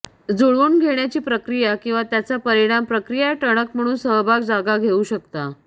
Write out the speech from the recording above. जूळवून घेण्याची प्रक्रिया किंवा त्याचा परिणाम प्रक्रिया टणक प्रमुख सहभाग जागा घेऊ शकता